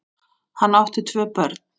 Hann átti tvö börn.